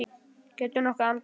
Geturðu nokkuð andað?